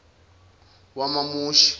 wamamushi